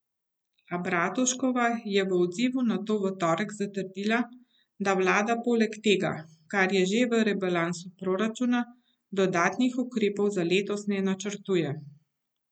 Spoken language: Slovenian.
A Bratuškova je v odzivu na to v torek zatrdila, da vlada poleg tega, kar je že v rebalansu proračuna, dodatnih ukrepov za letos ne načrtuje.